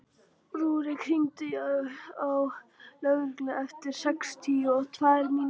Úlrik, hringdu í Höllu eftir sextíu og tvær mínútur.